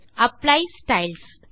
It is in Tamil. apply styles